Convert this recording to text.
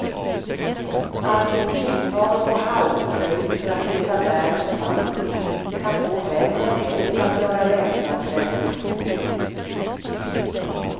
Att i timtal gå halvböjd för att leta bär och svamp kan få vem som helst att göra väpnad revolution.